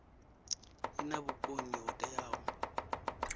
i na vhukoni ho teaho